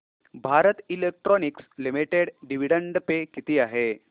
Bharat Electronics Limited dividend pay किती आहे